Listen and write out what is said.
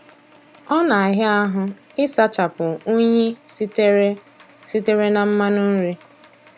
Ọ na-àhịá ahụ ị sụchapụ únyí sitere sitere na mmanụ nri.